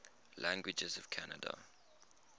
languages of canada